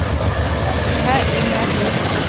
le ha e na le